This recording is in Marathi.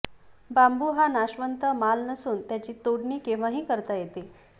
बांबू हा नाशवंत माल नसून त्याची तोडणी केव्हाही करता येते